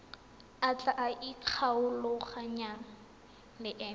a tla ikgolaganyang le ena